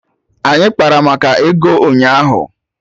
Anyị kpara maka ego ụnyaahụ